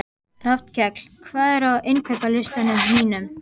Rafnkell, hvað er á innkaupalistanum mínum?